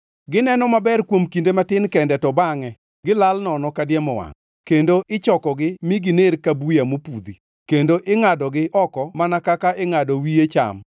Gineno maber kuom kinde matin kende to bangʼe gilal nono kadiemo wangʼ, kendo ichokogi mi giner ka buya mopudhi; kendo ingʼadogi oko mana kaka ingʼado wiye cham.